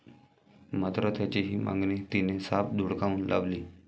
मात्र त्याची ही मागणी तिने साफ धुडकावून लावली.